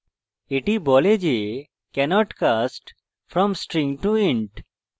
এটি বলে যে cannot cast from string to int